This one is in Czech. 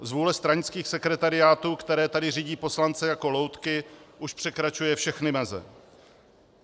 Zvůle stranických sekretariátů, které tady řídí poslance jako loutky, už překračuje všechny meze.